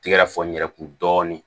Tigɛ ka fɔ n yɛrɛ kun dɔɔnin